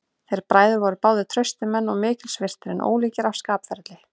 Þeir bræður voru báðir traustir menn og mikils virtir, en ólíkir að skapferli.